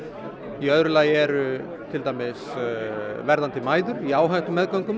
í öðru lagi eru það verðandi mæður í